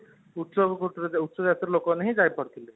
ଉଚ୍ଚ ଉଚ୍ଚ ଜାତିର ଲୋକ ମାନେ ହିନ ଯାଇ ପାରୁଥିଲେ